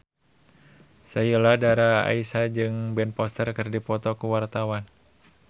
Sheila Dara Aisha jeung Ben Foster keur dipoto ku wartawan